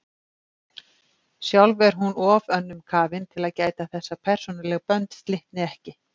Sjálf er hún of önnum kafin til að gæta þess að persónuleg bönd slitni ekki.